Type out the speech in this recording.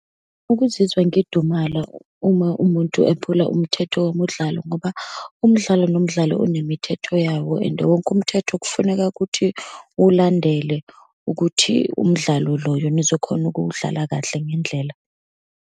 Ukuzizwa ngidumala uma umuntu ephula umthetho womumdlalo, ngoba umdlalo nomdlalo unemithetho yawo. And wonke umthetho kufuneka ukuthi uwulandele ukuthi umdlalo loyo nizokhona ukuwudlala kahle ngendlela.